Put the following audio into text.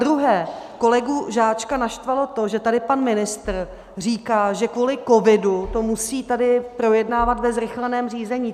Zadruhé, kolegu Žáčka naštvalo to, že tady pan ministr říká, že kvůli covidu to musí tady projednávat ve zrychleném řízení.